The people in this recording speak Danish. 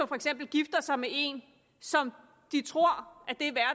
for eksempel gifter sig med en som de tror